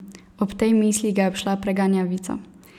Ob tej misli ga je obšla preganjavica.